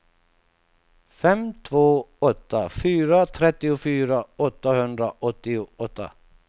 fem två åtta fyra trettiofyra åttahundraåttioåtta